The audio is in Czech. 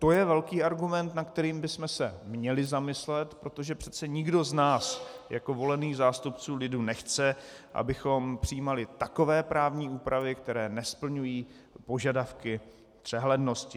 To je velký argument, nad kterým bychom se měli zamyslet, protože přece nikdo z nás jako volených zástupců lidu nechce, abychom přijímali takové právní úpravy, které nesplňují požadavky přehlednosti.